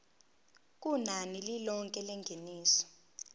kunani lilonke lengeniso